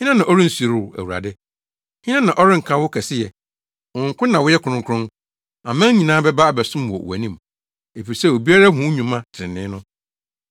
Hena na ɔrensuro wo, Awurade? Hena na ɔrenka wo kɛseyɛ? Wo nko na woyɛ kronkron. Aman nyinaa bɛba abɛsom wɔ wʼanim, efisɛ obiara ahu wo nnwuma trenee no.”